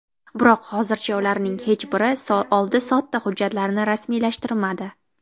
Biroq hozircha ularning hech biri oldi-sotdi hujjatlarini rasmiylashtirmadi.